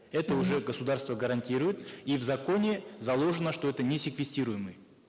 это уже государство гарантирует и в законе заложено что это не секвестируемый